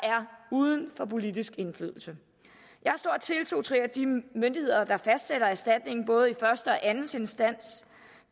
uden for politisk indflydelse jeg har stor tiltro til at de myndigheder der fastsætter erstatningen i både første og anden instans